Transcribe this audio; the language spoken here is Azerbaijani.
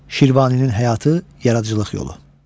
Şirvaninin həyatı, yaradıcılıq yolu.